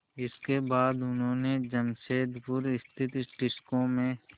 इसके बाद उन्होंने जमशेदपुर स्थित टिस्को में